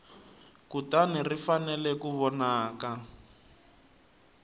kutani ri fanele ku vonaka